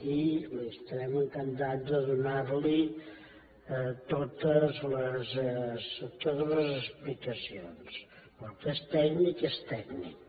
i estarem encantats de donar li totes les explicacions però el que és tècnic és tècnic